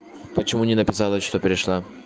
почему не написала что пришла